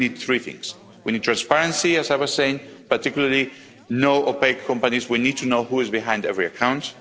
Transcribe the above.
I think we need three things. We need transparency, as I was saying, particularly no opaque companies we need to know who is behind every account.